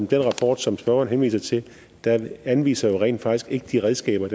den rapport som spørgeren henviser til anviser rent faktisk ikke de redskaber